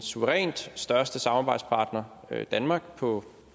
suverænt største samarbejdspartner nemlig danmark på